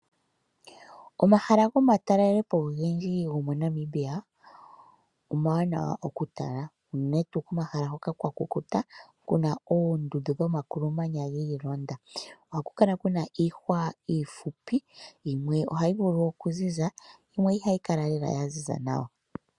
Omahala go matalelepo ogendji go moNamibia , omawanawa okutala. Uunene tuu komahala hoka kwa kukuta kuna oondundu dho makulu manya giilonda. Oha kukala kana iihwa iihupi yimwe ohayi vulu okuziza, yimwe ihayi kala ya ziza nawa.